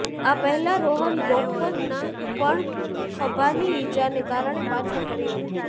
આ પહેલા રોહન બોપન્ના પણ ખભાની ઇજાને કારણે પાછો ફર્યો હતો